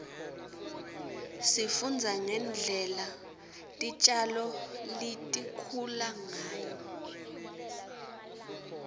sifundza ngendlela titjalo litikhula ngayo